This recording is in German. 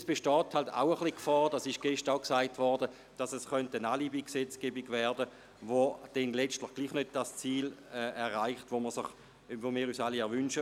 Weiter besteht auch die Gefahr, dass es, wie gestern gesagt wurde, ein Alibi-Gesetz werden könnte, mit welchem man letztlich nicht das Ziel erreicht, das wir uns alle wünschen.